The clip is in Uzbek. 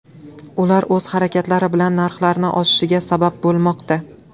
Ular o‘z harakatlari bilan narxlarning oshishiga sabab bo‘lmoqda.